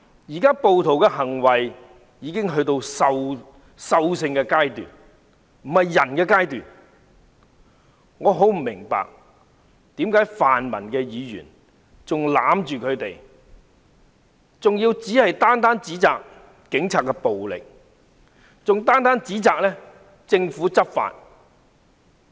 暴徒現在的行為已進入獸性階段，這不是人的階段，我很不明白為何泛民議員仍要袒護他們，還要單一指責警察使用暴力和政府執法。